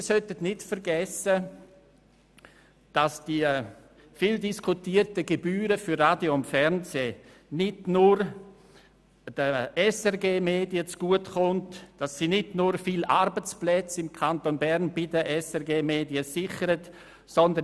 Wir sollten nicht vergessen, dass die viel diskutierten Gebühren für Radio und Fernsehen nicht nur den SRG-Medien zugutekommen und nicht nur viele Arbeitsplätze bei den SRG-Medien im Kanton Bern sichern.